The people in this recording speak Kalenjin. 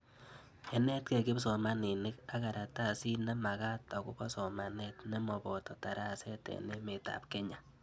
Ye netkei kipsomanik ak karatasit nemakat akopo somanet nemapo daraset eng' emet ab Kenya